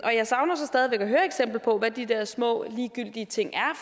jeg savner så stadig væk at høre eksempler på hvad de der små ligegyldige ting